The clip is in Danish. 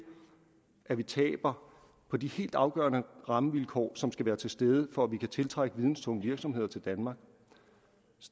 at vi taber på de helt afgørende rammevilkår som skal være til stede for at vi kan trække videnstunge virksomheder til danmark